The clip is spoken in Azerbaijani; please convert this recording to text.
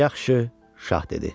Yaxşı, şah dedi.